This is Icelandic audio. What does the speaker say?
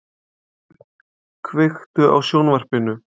Bergsveinn, kveiktu á sjónvarpinu.